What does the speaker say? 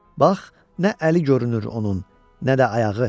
Bax, nə əli görünür onun, nə də ayağı.